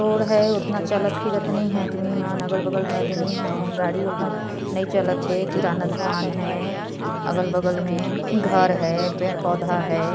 Road है और इतना चालत फिरत नई है आदमी मन अगल बग़ल में आदमी हैं गाड़ी उतना नई चलत हे किराना दुकान हय अगल बगल में घर हय पेड़ पौधा हय।